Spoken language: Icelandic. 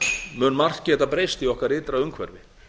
mun margt geta breyst í okkar ytra umhverfi